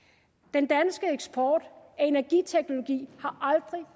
den danske eksport af energiteknologi har aldrig